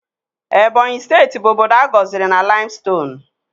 Ebonyi steeti bụ obodo a gọziri na laimstonuu